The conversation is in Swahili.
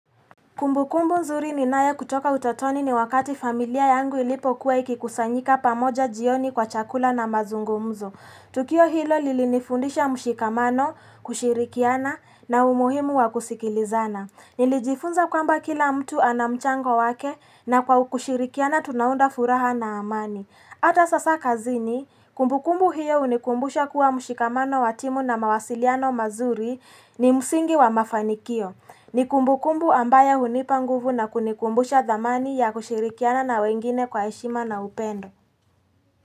Kumbukumbu nzuri ninayo kutoka utotoni ni wakati familia yangu ilipokuwa ikikusanyika pamoja jioni kwa chakula na mazungumzo. Tukio hilo lilinifundisha mshikamano, kushirikiana na umuhimu wakusikilizana. Nilijifunza kwamba kila mtu ana mchango wake na kwa kushirikiana tunaunda furaha na amani. Ata sasa kazini, kumbukumbu hio hunikumbusha kuwa mshikamano wa timu na mawasiliano mazuri ni msingi wa mafanikio. Ni kumbukumbu ambayo hunipa nguvu na kunikumbusha dhamani ya kushirikiana na wengine kwa heshima na upendo.